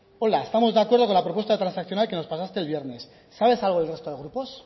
hola estamos de acuerdo con la propuesta transaccional que nos pasaste el viernes sabes algo del resto de grupos